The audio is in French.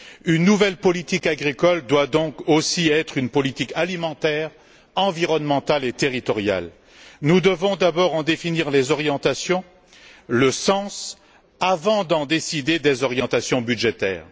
Une nouvelle politique agricole doit donc aussi être une politique alimentaire, environnementale et territoriale. Nous devons d'abord en définir les orientations, le sens, avant de décider des orientations budgétaires.